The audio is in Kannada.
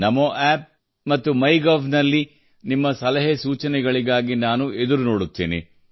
ನಮೋ ಅಪ್ ಮತ್ತು ಮೈಗೋವ್ ನಲ್ಲಿ ನಿಮ್ಮ ಸಲಹೆ ಸೂಚನೆಗಳಿಗಾಗಿ ನಾನು ಎದುರು ನೋಡುತ್ತೇನೆ